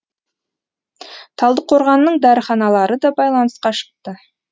талдықорғанның дәріханалары да байланысқа шықты